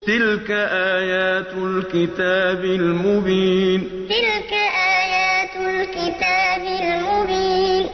تِلْكَ آيَاتُ الْكِتَابِ الْمُبِينِ تِلْكَ آيَاتُ الْكِتَابِ الْمُبِينِ